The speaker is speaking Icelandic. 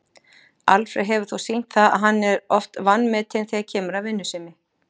Alfreð hefur þó sýnt það að hann er oft vanmetinn þegar kemur að vinnusemi.